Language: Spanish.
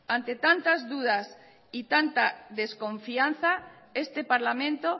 ante tantas dudas y tanta desconfianza este parlamento